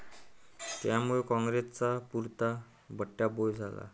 त्यामुळे कॉंग्रेसचा पुरता बट्ट्याबोळ झाला.